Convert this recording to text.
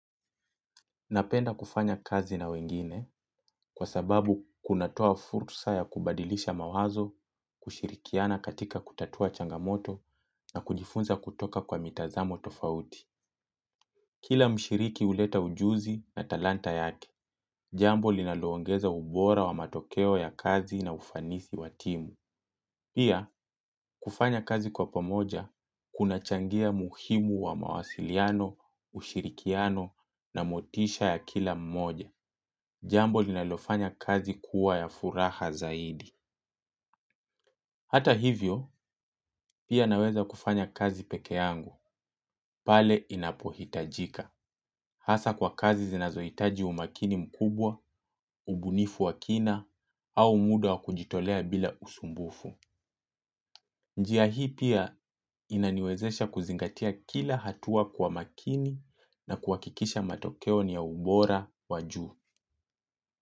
Napenda kufanya kazi na wengine kwa sababu kunatoa fursa ya kubadilisha mawazo, kushirikiana katika kutatua changamoto na kujifunza kutoka kwa mitazamo tofauti. Kila mshiriki huleta ujuzi na talanta yake, jambo linaloongeza ubora wa matokeo ya kazi na ufanisi wa timu. Pia, kufanya kazi kwa pamoja, kunachangia muhimu wa mawasiliano, ushirikiano na motisha ya kila mmoja. Jambo linalofanya kazi kuwa ya furaha zaidi. Hata hivyo, pia naweza kufanya kazi peke yangu, pale inapohitajika. Hasa kwa kazi zinazohitaji umakini mkubwa, ubunifu wa kina, au muda wa kujitolea bila usumbufu. Njia hii pia inaniwezesha kuzingatia kila hatua kwa makini na kuhakikisha matokeo ni ya ubora wa juu.